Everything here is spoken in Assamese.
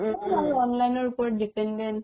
চব আৰু online ৰ ওপৰত dependent